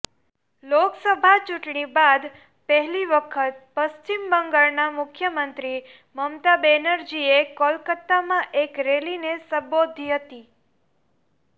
લોકસભા ચૂંટણી બાદ પહેલી વખત પશ્ચિમ બંગાળના મુખ્યમંત્રી મમતા બેનરજીએ કોલકાતામાં એક રેલીને સંબોધી હતી